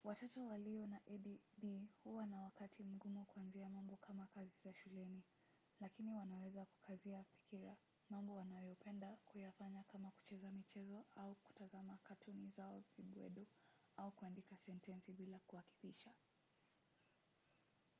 watoto walio na add huwa na wakati mgumu kuangazia mambo kama kazi za shuleni lakini wanaweza kukazia fikira mambo wanayopenda kuyafanya kama kucheza michezo au kutazama katuni zao vibwedo au kuandika sentensi bila kuakifisha